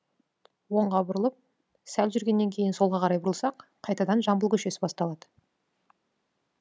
оңға бұрылып сәл жүргеннен кейін солға қарай бұрылсақ қайтадан жамбыл көшесі басталады